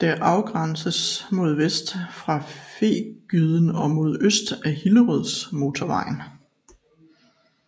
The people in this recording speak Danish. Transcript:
Det afgrænses mod vest af Fægyden og mod øst af Hillerødmotorvejen